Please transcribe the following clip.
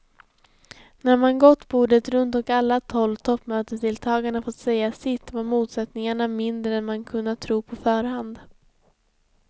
När man gått bordet runt och alla tolv toppmötesdeltagarna fått säga sitt var motsättningarna mindre än man kunnat tro på förhand.